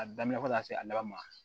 A daminɛ fɔ ka taa se a laban ma